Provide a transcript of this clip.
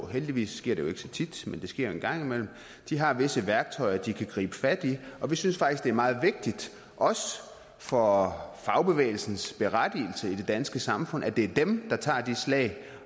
heldigvis sker det jo ikke så tit men det sker en gang imellem de har visse værktøjer de kan gribe fat i og vi synes faktisk det er meget vigtigt også for fagbevægelsens berettigelse i det danske samfund at det er dem der tager de slag